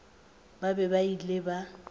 ba be ba ile ba